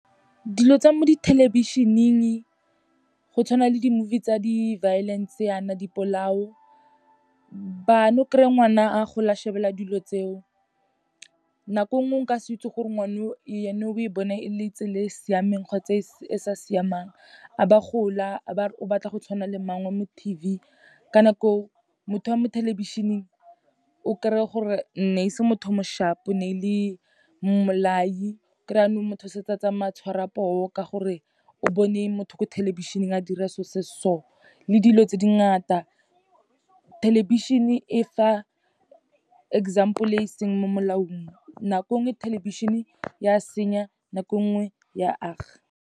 Dilo tsa mo dithelebišeneng, go tshwana le di-movie tsa di-violence yana, dipolao, bana, o kry-e ngwana a gola a shebelele dilo tseo. Nako nngwe, o ka se itse gore ngwana o ene, o e bone e le tsela e e siameng kgotsa e sa siamang. A ba gola, a ba re o batla go tshwana le mangwe wa mo T_V, ka nako eo motho wa mo thelebišeneng o kry-e gore ne e se motho o mo sharp-o, ne e le mmolai. O kry-e yanong motho setse a tsamaya a tshwara poo, ka gore o bone motho ko thelebišeneng a dira so se se so, le dilo tse di ngata. Thelebišhene e fa example-e e seng mo molaong, nako nngwe thelebišene ya senya, nako nngwe ya aga.